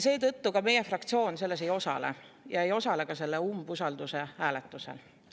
Seetõttu meie fraktsioon selles ei osale ja ei osale ka selle umbusalduse hääletusel.